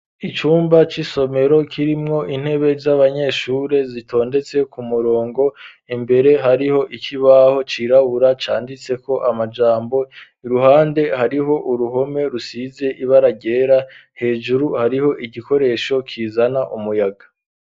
Icumba c'isomero kirimwo intebe z'abanyeshure zitondetse ku murongo imbere hariho ikibaho cirabura canditse mko amajambo , iruhande hariho uruhome rusize ibara ryera, hejuru hariho igikoresho kizana umuyaga.